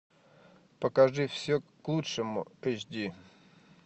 покажи все к лучшему эйч ди